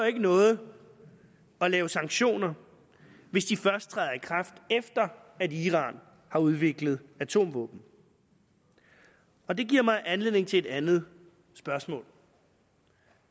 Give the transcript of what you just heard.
ikke noget at lave sanktioner hvis de først træder i kraft efter at iran har udviklet atomvåben og det giver mig anledning til et andet spørgsmål